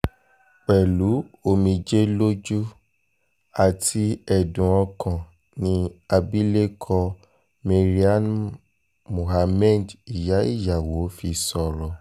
pẹ̀lú omijé lójú àti ẹ̀dùn ọkàn ni abilékọ maryam muhammed ìyá ìyàwó fi sọ̀rọ̀